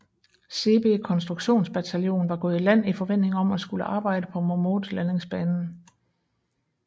Seebee konstruktionsbataljon var gået i land i forventning om at skulle arbejde på Momote landingsbanen